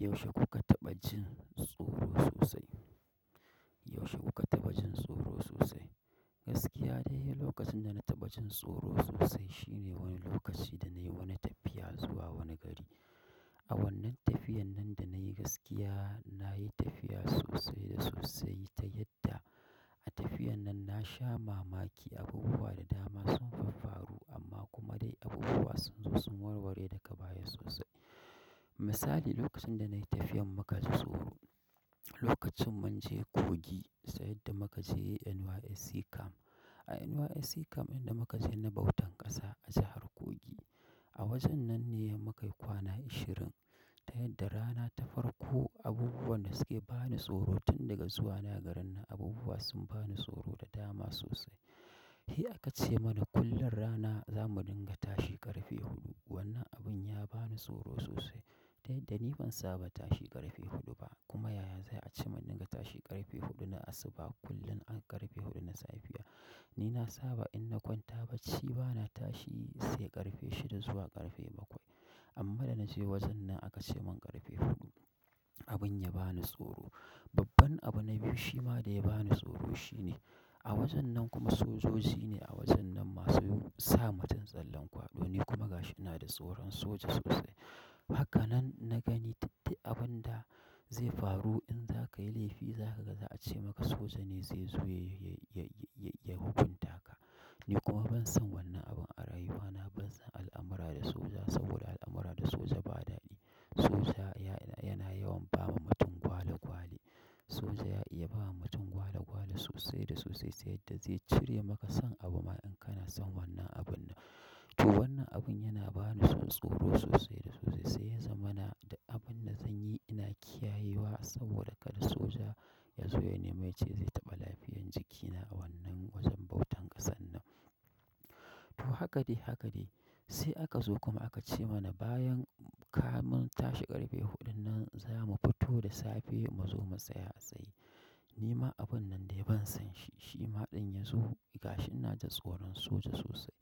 Yaushe kuka taɓa jin tsoro sosai? Yaushe kuka taɓa jin tsoro sosai? Gaskiya dai, lokacin da na taɓa jin tsoro sosai shine wani lokaci da nayi wani tafiya zuwa wani gari. A wannan tafiyan nan da nayi gaskiya, nayi tafiya sosai da sosai ta yadda a tafiyan nan na sha mamaki, abubuwa da dama sun faffaru amma kuma dai abubuwa sun zo sun warware daga baya sosai. Misali, lokacin da nayi tafiyan muka ji tsoro, lokacin mun je Kogi sai da muka je NYSC camp. A NYSC camp inda muka je na bautan ƙasa a jahar Kogi. A wajen nan ne muka yi kwana ashirin ta yadda rana ta farko abubuwan da suke bani tsoro tun daga zuwa nayi garin nan abubuwa sun bani tsoro da dama sosai. He, aka ce mana kullum rana za mu dinga tashi ƙarfe huɗu. Wannan abun ya bani tsoro sosai ta yadda ni ban saba tashi ƙarfe huɗu ba kuma yaya zai a ce mun dinga tashi ƙarfe huɗu na asuba kullum a ƙarfe huɗu na safiya. Ni na saba in na kwanta bacci bana tashi sai ƙarfe shida zuwa ƙarfe bakwai. Amma da na je wajen nan aka ce mun ƙarfe huɗu. Abun ya bani tsoro. Babban abu na biyu shima da ya bani tsoro shine a wajen nan kuma sojoji ne a wajen nan masu sa mutum tsallen kwaɗo. Ni kuma gashi ina da tsoron soja sosai. Haka nan na gani duk dai abun da zai faru in za ka yi laifi za ka ga za a ce maka soja ne zai zo ya, ya, ya, ya hukunta ka. Ni kuma ban san wannan abun a rayuwa na ban san al'amura da soja saboda al'amura da soja ba daɗi. Soja ya, yana yawan ba wa mutum gwale gwale. Soja ya iya ba ma mutum gwale gwale sosai da sosai ta yaddda zai cire maka son abu ma in kana son wannan abun nan. To wannan abun yana bani son tsoro sosai da sosai sai ya zama na, duk abun da zan yi ina kiyaye wa saboda kada soja ya zo ya nemi ya ce zai taɓa lafiyan jikina a wannan wajen bautan ƙasan nan. To haka dai haka dai sai aka zo kuma aka ce mana bayan ka mun tashi ƙarfe huɗu nan za mu fito da safe mu zo mu tsaya a tsaye. Ni ma abun nan dai ban san shi, shi ma ɗin ya zo gashi ina da tsoron soja sosai.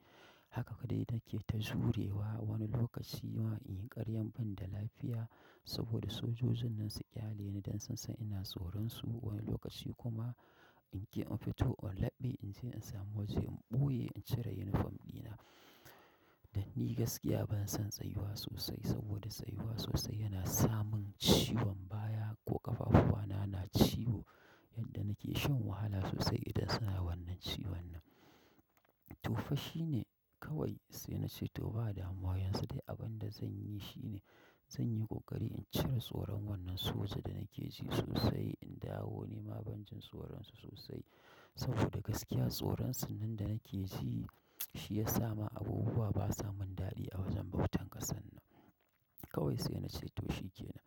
Haka kaɗai nake ta jurewa wani lokaci ma in yi ƙaryan ban da lafiya saboda sojojin nan su ƙyale ni don sun san ina tsoron su. Wani lokaci kuma in ke in fito in laɓe in je in sami waje in ɓoye in cire unifom ɗina. Danni gaskiya banason tsayuwa sosai, saboda tsayuwa sosai yana samin ciwon baya ko ƙafafuwana na ciwo yadda nake shan wahala sosai idan suna wannan ciwon nan. To fashi ne kawai sai na ce to ba da ama yanzu dai abin da zan yi shine zan yi ƙoƙari in cire tsoron wannan soja da nake ji sosai in dawo. Ni ma ban jin tsoron su sosai saboda gaskiya tsoron sun nan da nake ji shi ya sa ma abubuwa ba sa mun daɗi a wajen bautan ƙasan nan. Kawai sai na ce to shike na.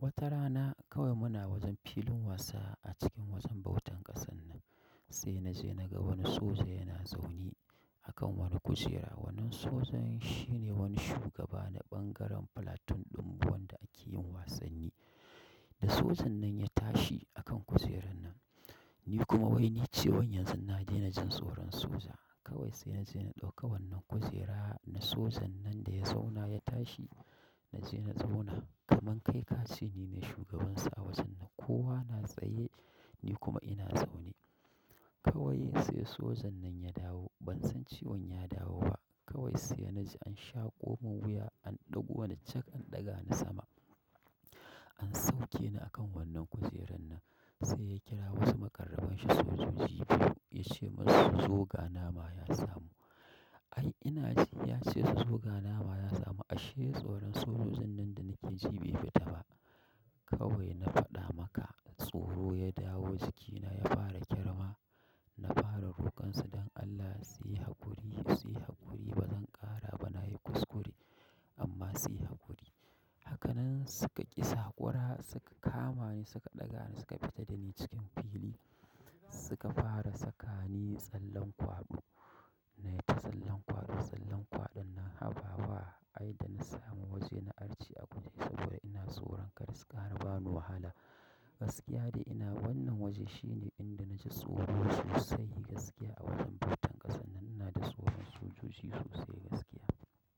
Wata rana kawai muna wajen filin wasa a cikin wajen bautan ƙasan nan. Sai na je na ga wani soja yana zaune a kan wani kujera. Wannan sojan shine wani shugaba na bangaren platoon ɗin mu wannda ake yin wasanni. Da sojan nan ya tashi a kan kujerar nan. Ni kuma wai nace wan yanzu na daina jin tsoron soja. Kawai sai na je na ɗauko wannan kujera na sojan nan da ya zauna ya tashi na je na zauna kamar kai ka ce ni ne shugabansa a wajen nan. Kowa na tsaye ni kuma ina zaune. Kawai sai sojan nan ya dawo. Ban san ciwon ya dawo ba. Kawai sai na ji an shaƙo mun wuya an ɗauko wani cak an ɗaga ni sama. An sauke ni a kan wannan kujerar nan. Sai ya kira wasu makarraban shi sojoji biyu ya ce masu su zo ga nama ya samu. Ai ina ji ya ce su zo ga nama ya samu ashe tsoron sojojin nan da nake ji bai fita ba. Kawai na faɗa maka tsoro ya dawo jikina ya fara ƙyarma. Na fara roƙon su don Allah su yi haƙuri, su yi haƙuri bazan ƙara ba nayi kuskure amma su yi haƙuri. Haka nan suka ƙi saƙwara suka kama ni suka ɗaga ni suka fita da ni cikin fili. Suka fara saka ni tsallen kwaɗo. Nayi ta tsallen kwaɗo, tsallen kwaɗon nan habawa ai da na samu waje na arce a guje saboda ina tsoron kada su ƙara ba ni wahala. Gaskiya dai ina wannan waje shine inda na ji tsoro sosai gaskiya a wajen bautan ƙasan nan na da tsoron sojoji sosai gaskiya.